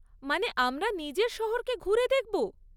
মানে, আমরা নিজের শহরকে ঘুরে দেখব?